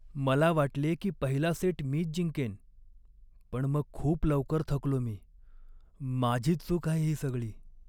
मला वाटले की पहिला सेट मीच जिंकेन, पण मग खूप लवकर थकलो मी. माझीच चूक आहे ही सगळी.